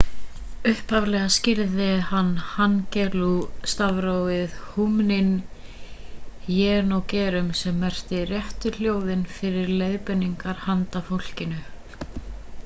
upphaflega skírði hann hangeul-stafrófið hunmin jeongeum sem merkir réttu hljóðin fyrir leiðbeiningar handa fólkinu